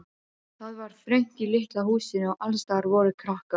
Það var þröngt í litla húsinu og allsstaðar voru krakkar.